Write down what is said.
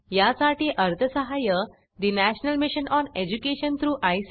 यासाठी अर्थसहाय्य national mission on education through I